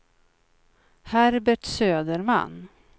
Herbert Söderman